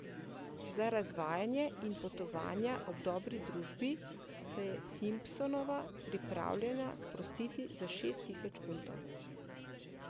Za razvajanje in potovanja ob dobri družbi se je Simpsonova pripravljena sprostiti za šest tisoč funtov.